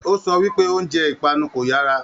O sọ wípé oúnjẹ ipanu kò yara.